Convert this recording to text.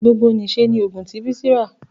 gbogbo n'iṣẹ ní ogún ti Bisi rá.